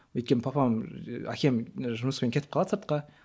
өйткені папам әкем жұмыспен кетіп қалады сыртқа